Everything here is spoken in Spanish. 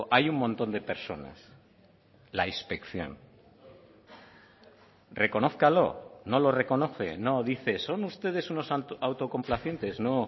hay un montón de personas la inspección reconózcalo no lo reconoce no dice son ustedes unos autocomplacientes no